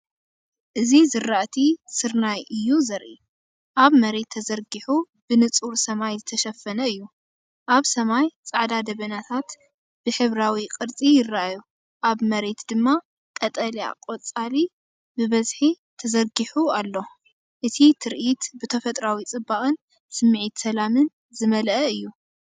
እዚ ዝራእቲ ስርናይ እዩ ዘርኢ። ኣብ መሬት ተዘርጊሑ ብንጹር ሰማይ ዝተሸፈነ እዩ። ኣብ ሰማይ ጻዕዳ ደበናታት ብሕብራዊ ቅርጺ ይረኣዩ፣ ኣብ መሬት ድማ ቀጠልያ ቆጽሊ ብብዝሒ ተዘርጊሑ ኣሎ። እቲ ትርኢት ብተፈጥሮኣዊ ጽባቐን ስምዒት ሰላምን ዝመልአ እዩ።